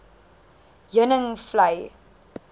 heuningvlei